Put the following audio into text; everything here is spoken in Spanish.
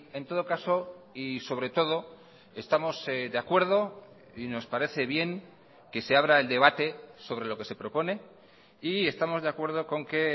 en todo caso y sobre todo estamos de acuerdo y nos parece bien que se abra el debate sobre lo que se propone y estamos de acuerdo con que